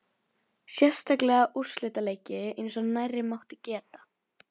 Sérstaklega úrslitaleiki eins og nærri mátti geta.